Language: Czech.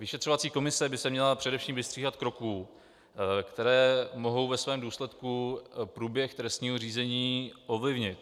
Vyšetřovací komise by se měla především vystříhat kroků, které mohou ve svém důsledku průběh trestního řízení ovlivnit.